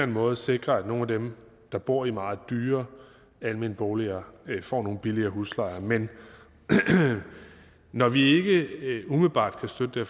måde sikrer at nogle af dem der bor i meget dyrere almenboliger får billigere huslejer men når vi ikke umiddelbart kan støtte det